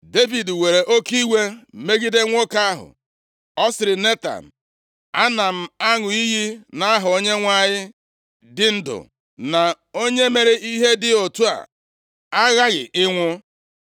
Devid were oke iwe megide nwoke ahụ, ọ sịrị Netan, “Ana m aṅụ iyi nʼaha Onyenwe anyị dị ndụ na onye mere ihe dị otu a aghaghị ịnwụ!